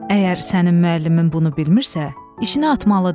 Əgər sənin müəllimin bunu bilmirsə, işinə atmalıdır.